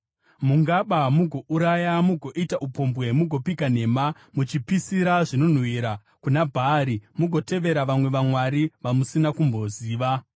“ ‘Mungaba mugouraya, mugoita upombwe mugopika nhema, muchipisira zvinonhuhwira kuna Bhaari, mugotevera vamwe vamwari vamusina kumboziva,